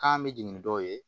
K'an bɛ jigin ni dɔw ye